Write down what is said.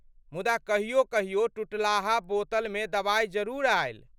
मुदा कहियो कहियो टुटलाहा बोतलमे दवाइ जरूर आयल।